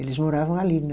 Eles moravam ali.